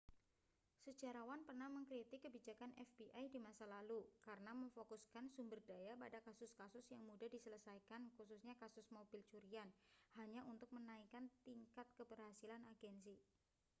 sejarawan pernah mengkritik kebijakan fbi di masa lalu karena memfokuskan sumber daya pada kasus-kasus yang mudah diselesaikan khususnya kasus mobil curian hanya untuk menaikkan tingkat keberhasilan agensi